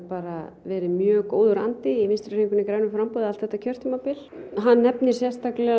verið mjög góður andi í Vinstri hreyfingunni grænu framboði allt þetta kjörtímabil hann nefnir sérstakleg